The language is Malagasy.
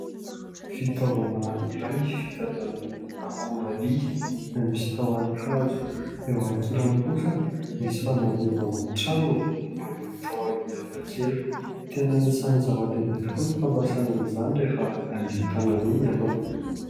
Fitaovana iray vita avy amin'ny akora vy izay misy tahony hazo. Eo ankilany kosa misy fanadioana trano manana tahony hafa kely. Tena anisan'ny zava-dehibe tokoa ny fampiasana izany rehefa handio tanana iny ianao.